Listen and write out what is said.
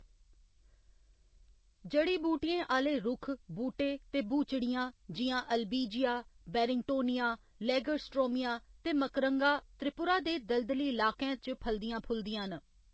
जड़ी बूटियें आह्‌‌‌ले रूक्ख, बूह्‌‌टे ते ब्हूचड़ियां जि'यां अल्बिजिया, बैरिंगटोनिया, लेगर्सट्रोमिया ते मकरंगा त्रिपुरा दे दलदली लाकैं च फलदियां फुलदियां न।